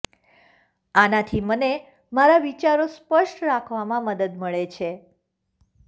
આનાથી મને મારા વિચારો સ્પષ્ટ રાખવામાં મદદ મળે છે